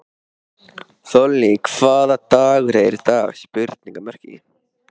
Þollý, hvaða dagur er í dag?